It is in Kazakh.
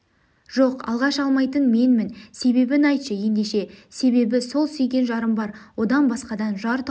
жоқ алғаш алмайтын менмін себебін айтшы ендеше себебі сол сүйген жарым бар одан басқадан жар тауып